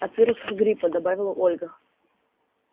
от вирусов гриппа добавила ольга